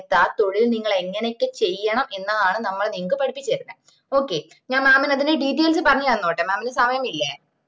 ആഹ് തൊഴിൽ നിങ്ങൾ എങ്ങനൊക്കെ ചെയ്യണം എന്നതാണ് നമ്മള് നിങ്ങക്ക് പഠിപ്പിച്ചേർന്നത് okay ഞാൻ mam ന് അതിന്റെ details പറഞ് തന്നോട്ടെ mam ന് സമയമില്ലെ